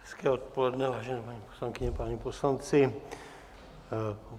Hezké odpoledne, vážené paní poslankyně, páni poslanci.